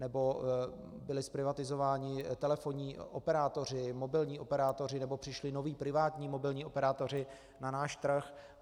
Nebo byli zprivatizováni telefonní operátoři, mobilní operátoři, nebo přišli noví privátní mobilní operátoři na náš trh.